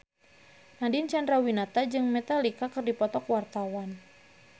Nadine Chandrawinata jeung Metallica keur dipoto ku wartawan